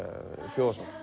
þjóðarsál